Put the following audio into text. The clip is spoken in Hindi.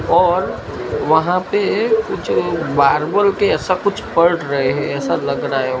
और वहां पे कुछ मार्बल के ऐसा कुछ पढ़ रहे है ऐसा लग रहा है।